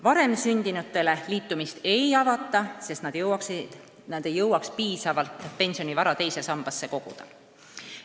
Varem sündinutele liitumist ei avata, sest nad ei jõuaks piisavalt pensionivara teise sambasse koguda.